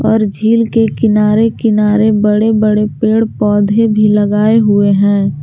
और झील के किनारे किनारे बड़े बड़े पेड़ पौधे भी लगाए हुए हैं।